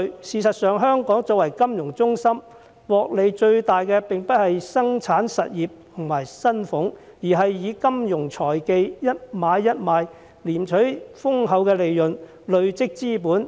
事實上，香港作為金融中心，獲利最大的並不是生產實業和薪俸階層，而是以金融財技，一買一賣賺取豐厚利潤，累積資本的人。